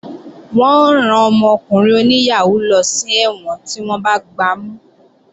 Wọ́n ó rán ọmọkùnrin oníyàhóó lọ sí ẹ̀wọ̀n tí wọ́n bá gbamú